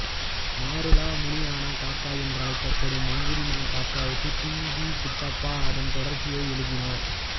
மாருலா முனியானா காகா என்று அழைக்கப்படும் மங்குதிம்மன காகாவுக்கு டி வி குண்டப்பா அதன் தொடர்ச்சியை எழுதினார்